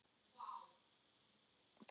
Við munum knúsast síðar.